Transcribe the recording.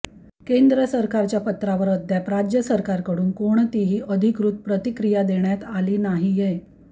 केंद्र सरकारच्या पत्रावर अद्याप राज्य सरकारकडून कोणतीही अधिकृत प्रतिक्रिया देण्यात आली नाहीये